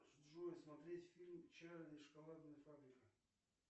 джой смотреть фильм чарли и шоколадная фабрика